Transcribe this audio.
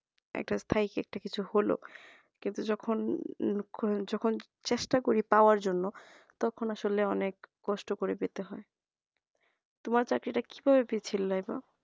একটা স্থায়ী একটা কিছু হল কিন্তু যখন যখন চেষ্টা করি পাওয়ার জন্য তখন আসলে অনেক কষ্ট করে পেতে হয় তোমার চাকরিটা কিভাবে পেয়েছিলে আপা